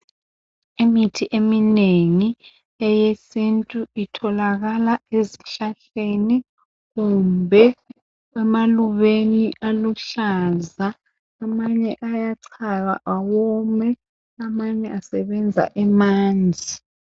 Imithi eminengi eyesintu Itholakala ezihlahleni kumbe emalubeni aluhlaza. Amanye ayachaywa awome. Amanye asebenza emanzi.